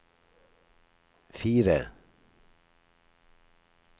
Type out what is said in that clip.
fire